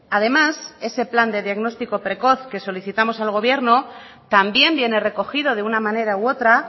además ese plan de diagnóstico precoz que solicitamos al gobierno también viene recogido de una manera u otra